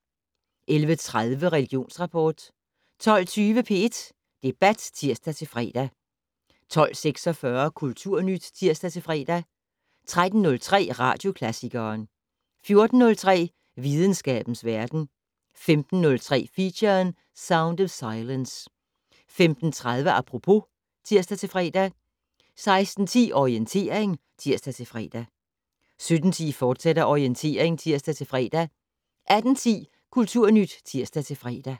11:30: Religionsrapport 12:20: P1 Debat (tir-fre) 12:46: Kulturnyt (tir-fre) 13:03: Radioklassikeren 14:03: Videnskabens verden 15:03: Feature: Sound of silence 15:30: Apropos (tir-fre) 16:10: Orientering (tir-fre) 17:10: Orientering, fortsat (tir-fre) 18:10: Kulturnyt (tir-fre)